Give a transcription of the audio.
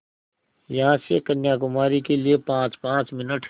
यहाँ से कन्याकुमारी के लिए पाँचपाँच मिनट